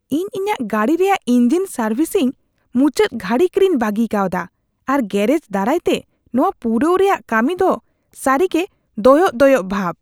ᱤᱧ ᱤᱧᱟᱹᱜ ᱜᱟᱹᱰᱤ ᱨᱮᱭᱟᱜ ᱤᱧᱡᱤᱱ ᱥᱟᱨᱵᱷᱤᱥᱤᱝ ᱢᱩᱪᱟᱹᱫ ᱜᱷᱟᱹᱲᱤᱠ ᱨᱮᱧ ᱵᱟᱹᱜᱤ ᱠᱟᱣᱫᱟ, ᱟᱨ ᱜᱮᱹᱨᱮᱡ ᱫᱟᱨᱟᱭᱛᱮ ᱱᱚᱶᱟ ᱯᱩᱨᱟᱹᱣ ᱨᱮᱭᱟᱜ ᱠᱟᱹᱢᱤᱫᱚ ᱫᱚ ᱥᱟᱹᱨᱤᱜᱮ ᱫᱚᱭᱚᱜ ᱫᱚᱭᱚᱜ ᱵᱷᱟᱵ ᱾